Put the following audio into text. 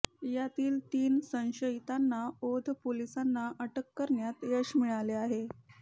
यातील तीन संशयीतांना औंध पोलिसांना अटक करण्यात यश मिळाले आहे